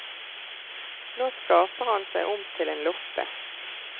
Nå skaper han seg om til en loppe.